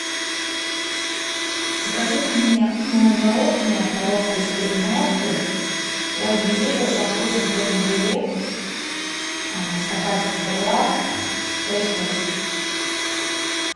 закажи мне мороженое коровка из кореновки пломбир со вкусом крем брюле стаканчик сто грамм шесть штук